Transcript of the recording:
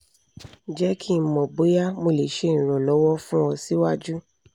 jẹ ki n mọ boya mo le ṣe iranlọwọ fun ọ siwaju